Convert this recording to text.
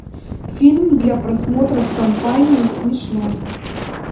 фильм для просмотра с компанией смешной